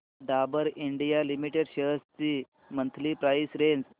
Dabur India limited shares ची monthly price range